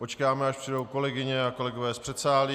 Počkáme, až přijdou kolegyně a kolegové z předsálí.